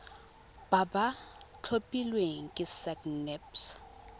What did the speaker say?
ba ba tlhophilweng ke sacnasp